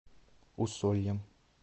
усольем